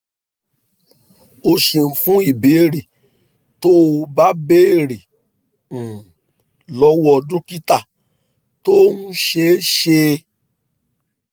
o ṣeun fún ìbéèrè tó o bá béèrè um lọ́wọ́ dókítà tó ń ṣe é ṣe é